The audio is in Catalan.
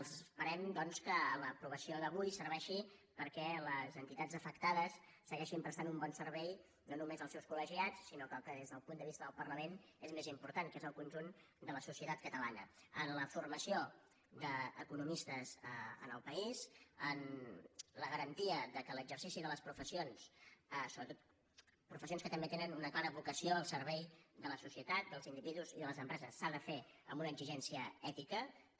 esperem doncs que l’aprovació d’avui serveixi perquè les entitats afectades segueixin prestant un bon servei no només als seus col·legiats sinó que el que des del punt de vista del parlament és més important que és el conjunt de la societat catalana en la formació d’economistes en el país en la garantia que l’exercici de les professions sobretot professions que també tenen una clara vocació al servei de la societat dels individus i de les empreses s’ha de fer amb una exigència ètica també